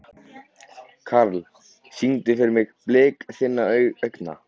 Karl, syngdu fyrir mig „Blik þinna augna“.